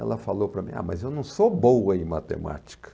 Ela falou para mim, ah, mas eu não sou boa em matemática.